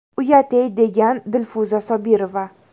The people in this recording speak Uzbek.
Uyat-ey!”, degan Dilfuza Sobirova.